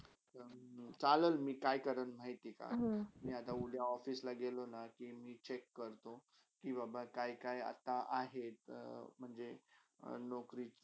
चालेल मी काय करीन माहितीका मी आता उद्या office ला गेलाना कि मी check करतो कि बाबा काय - काय आता आहेत. तर म्हणजे नोकरी.